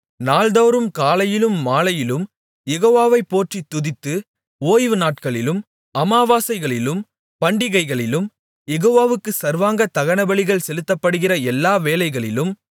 நாள்தோறும் காலையிலும் மாலையிலும் யெகோவாவைப் போற்றித் துதித்து ஓய்வு நாட்களிலும் அமாவாசைகளிலும் பண்டிகைகளிலும் யெகோவாவுக்கு சர்வாங்க தகனபலிகள் செலுத்தப்படுகிற எல்லா வேளைகளிலும்